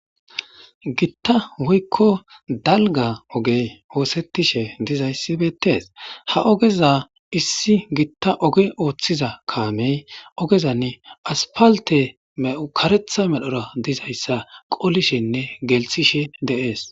Gitta woykko dalga ogey oosettishe dizayssibeettees ha ogeza issi gitta oge ooththiza kaamey ogezan aspalte me'u karetha medhora dizayssa qolishenne gelthishe deees